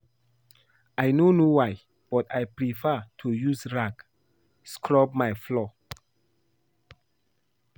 I no know why but I prefer to use rag scrub my floor